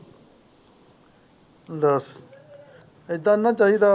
ਦੱਸ ਇਹਦਾ ਨਹੀਂ ਚਾਹੀਦਾ ਵਾ।